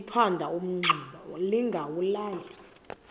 liphanda umngxuma lingawulali